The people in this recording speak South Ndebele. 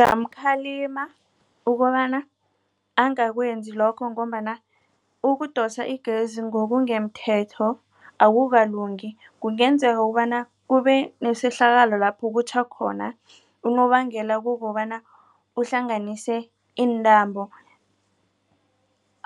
Ngingamkhalima ukobana angakwenzi lokho ngombana ukudosa igezi ngokungemthetho akukalungi kungenzeka ukobana kubenesehlakalo lapho kutjha khona. Unobangela kukobana uhlanganise intambo